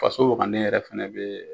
Faso ani e yɛrɛ fana bɛ